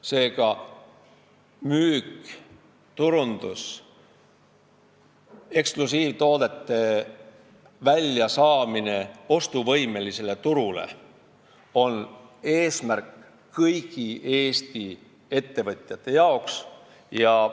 Seega, müük, turundus ja eksklusiivtoodete ostuvõimelisele turule saamine on kõigi Eesti ettevõtjate eesmärk.